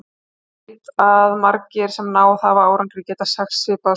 Ég veit að margir, sem náð hafa árangri, geta sagt svipaða sögu.